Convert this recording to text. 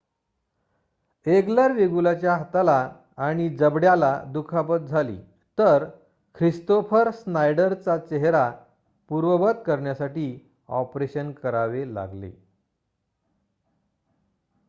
eager वेगुलाच्या हाताला आणि जबड्याला दुखापत झाली तर ख्रिस्तोफर स्नायडरचा चेहरा पूर्ववत करण्यासाठी ऑपरेशन करावे लागले